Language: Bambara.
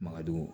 Makadɔw